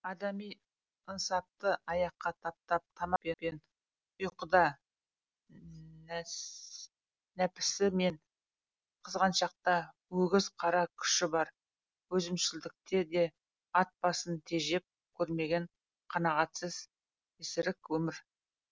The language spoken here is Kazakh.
адами ынсапты аяққа таптап тамақ пен ұйқыда да нәпсі мен қызғанышта да өгіз қара күші бар өзімшілдікте де ат басын тежеп көрмеген қанағатсыз есірік өмір